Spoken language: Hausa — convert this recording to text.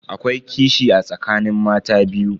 Akwai kishi a tsakanin mata biyu.